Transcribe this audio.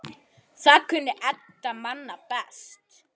Það kunni Edda manna best.